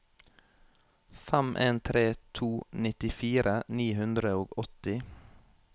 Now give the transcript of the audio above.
fem en tre to nittifire ni hundre og åtti